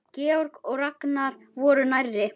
Georg og Ragnar voru nærri.